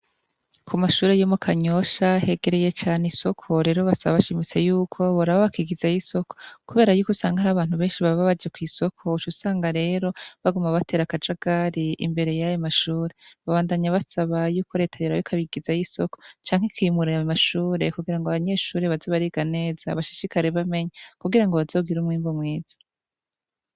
Ku mashure yomo kanyosha hegereye cane isoko rero basaba bashimise yuko borabo bakigiza yo'isoko, kubera yuko usanga aho abantu benshi bababaje kw'isoko ucu usanga rero baguma batera akaja gari imbere y'aya mashure babandanya basaba yuko reta yorabikabigiza yo isoko canke kimuraya mashure kugira ngo abanyeshuri bazibariga neza bashishikare bamenya kugira ngo bazogira umwimbu mwiza.